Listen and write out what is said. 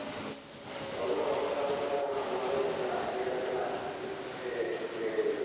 Xooluhu waxay ka qaybqaataan horumarinta ganacsiyada ganacsi ee beeralayda.